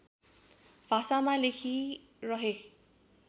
भाषामा लेखिरहे